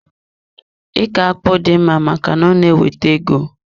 Iko akpụ dị mma maka na ọ na-ewete ego.